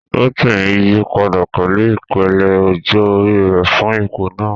Rotimi yí padà pẹ̀lú ìpele ọjọ́ orí rẹ̀ fún ipò náà.